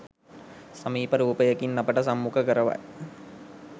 සමීප රූපයකින් අපට සම්මුඛ කරවයි.